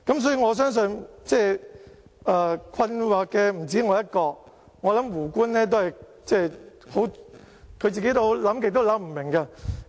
所以，我相信困惑的不止我一個，我想胡官都會感到困惑。